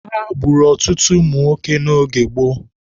Agha gburu ọtụtụ ụmụnwoke n'oge gboo.